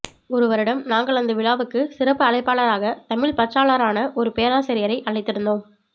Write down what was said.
ஒரு வருடம் நாங்கள் அந்த விழாவுக்கு சிறப்பு அழைப்பாளராக தமிழ்ப் பற்றாளரான ஒரு பேராசியரை அழைத்திருந்தோம்